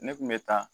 Ne kun bɛ taa